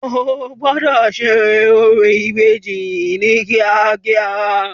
O gbọ́dọ̀ ṣe orò ìbejì ní kíákíá.